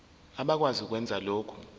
abakwazi ukwenza lokhu